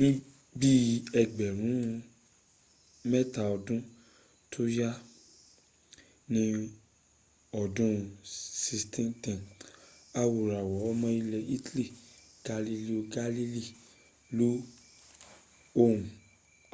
níbí ẹgbẹ̀rún mẹ́ta ọdún tó yá ní ọdún 1610 awòràwọ̀ ọmọ ilẹ̀ italy galileo galilei lo ohun